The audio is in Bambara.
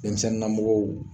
Denmisɛnninna mɔgɔw